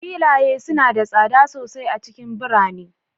Filaye suna da tsada sosai a cikin birane